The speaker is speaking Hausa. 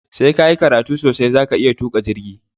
Sai kayi karatu sosai zaka iya tuƙa jirgi